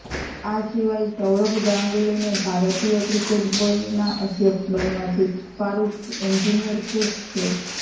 આ સિવાય સૌરભ ગાંગુલીને ભારતીય ક્રિકેટ બોર્ડના અધ્યક્ષ બનવાથી ફારૂખ એન્જિનિયર ખુશ છે